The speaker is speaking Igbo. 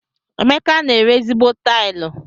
Emeka n'eri ezigbo tilu.